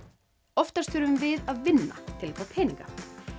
oftast þurfum við að vinna til að fá peninga